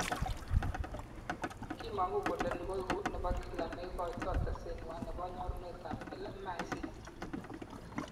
Kimangu kole ni koeku nebo kila neikoito teset nwai nebo nyorunetab LMICs